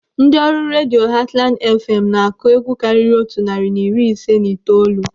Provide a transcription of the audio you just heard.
Ndị ọrụ redio Hatland FM na-akụ egwu karịrị otu narị na iri ise na itoolu.